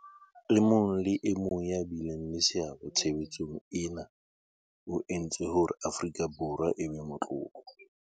E mong le e mong ya bileng le seabo tshebetsong ena o entse hore Afrika Borwa e be motlotlo.